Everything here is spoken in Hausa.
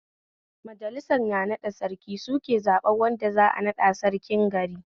Majalisar naɗa Sarki suke zaɓen wanda za'a naɗa Sarkin gari